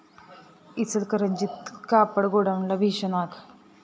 इचलकरंजीत कापड गोडाऊनला भीषण आग